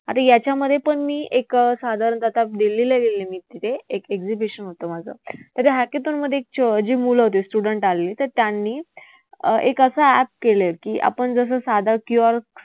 आता याच्यामध्येपण मी एक साधारण आता दिल्लीला गेले एक exhibition होतं माझं. तर जी मुलं होतीत student आलेली तर त्यांनी अं एक असं app केलंय की आपण जसं साधं किंवा